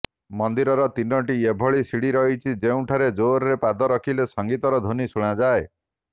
ମନ୍ଦିରର ତିନୋଟି ଏଭଳି ସିଡ଼ି ରହିଛି ଯେଉଁଠାରେ ଜୋରରେ ପାଦ ରଖିଲେ ସଙ୍ଗୀତର ଧ୍ବନି ଶୁଣାଯାଏ